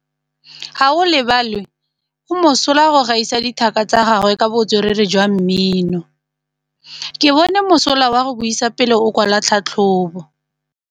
Gaolebalwe o mosola go gaisa dithaka tsa gagwe ka botswerere jwa mmino. Ke bone mosola wa go buisa pele o kwala tlhatlhobô.